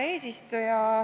Hea eesistuja!